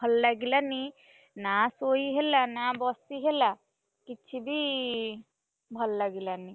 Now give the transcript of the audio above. ନିଜକୁ ଭଲ ଲାଗିଲାନି, ନାଁ ଶୋଇହେଲା ନା ବସି, ହେଲା କିଛିବି, ଭଲଲାଗିଲାନି।